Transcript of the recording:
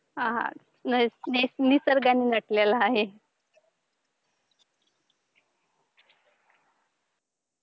आह हा निसर्गाने नटलेला आहे.